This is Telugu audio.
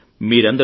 మీరందరూ